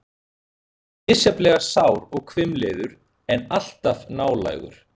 Hann er misjafnlega sár og hvimleiður, en alltaf nálægur.